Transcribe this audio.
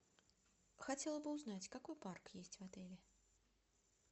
хотела бы узнать какой парк есть в отеле